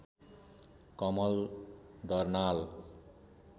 Kamal Darnal